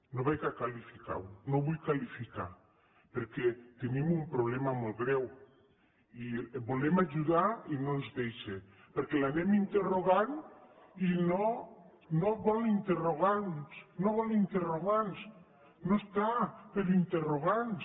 no ho qualificaré no ho vull qualificar perquè tenim un problema molt greu i volem ajudar i no ens deixa perquè l’anem interrogant i no vol interrogants no vol interrogants no està per interrogants